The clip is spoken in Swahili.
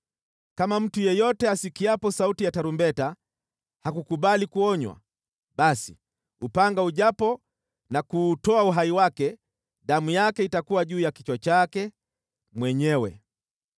kama mtu yeyote asikiapo sauti ya tarumbeta hakukubali kuonywa, basi upanga ujapo na kuutoa uhai wake, damu yake itakuwa juu ya kichwa chake mwenyewe.